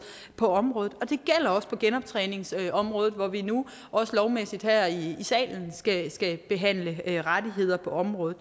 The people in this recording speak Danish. på området det gælder også på genoptræningsområdet hvor vi nu også lovmæssigt her i salen skal skal behandle rettigheder på området